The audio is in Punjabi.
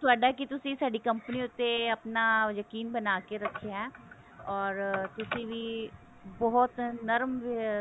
ਤੁਹਾਡਾ ਕੀ ਤੁਸੀਂ ਸਾਡੀ company ਉੱਤੇ ਆਪਣਾ ਯਕੀਨ ਬਣਾ ਕਿ ਰੱਖਿਆ or ਤੁਸੀਂ ਵੀ ਬਹੁਤ ਨਰਮ